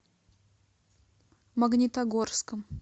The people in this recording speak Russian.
магнитогорском